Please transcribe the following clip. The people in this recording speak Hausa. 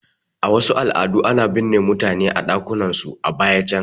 A wasu al'adu ana binne mutane a ɗakunan su a baya can